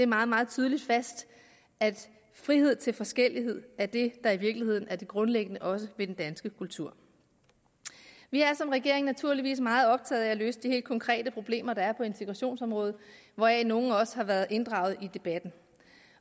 meget meget tydeligt fast at frihed til forskellighed er det der i virkeligheden også er det grundlæggende ved den danske kultur vi er som regering naturligvis meget optaget af at løse de helt konkrete problemer der er på integrationsområdet hvoraf nogle også har været inddraget i debatten